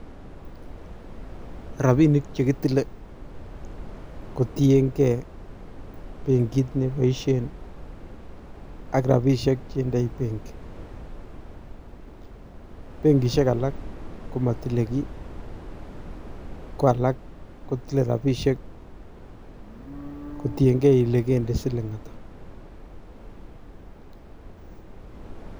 Ropinik chekitile kotiengee benkit neboisien ak rapisiek chendoi benki, Benkisiek alak komotile kii kwalak kotile rapisiek kotiengee kele kende siling ata.